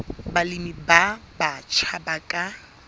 balemi ba batjha ba ka